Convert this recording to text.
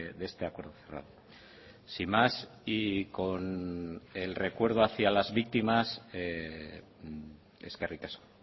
de este acuerdo sin más y con el recuerdo hacia las víctimas eskerrik asko